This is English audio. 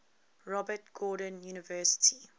robert gordon university